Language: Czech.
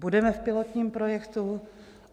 Budeme v pilotním projektu?